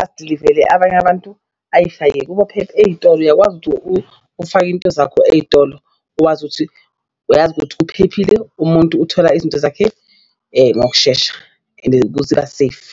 adilivele abanye abantu ayishaye kubo ey'tolo uyakwazi ukuthi ufake iy'nto zakho ey'tolo uwazi ukuthi uyazi ukuthi uphephile, umuntu uthola izinto zakhe ngokushesha and safe.